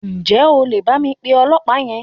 Ǹjẹ́ o lè bá mi pe ọlọ̀pàá yẹn?